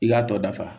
I k'a tɔ dafa